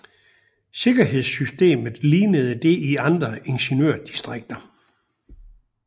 Sikkerhedssystemet lignede det i andre ingeniørdistrikter